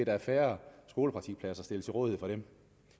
er færre skolepraktikpladser stillet til rådighed for dem